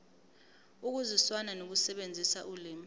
ukuzwisisa nokusebenzisa ulimi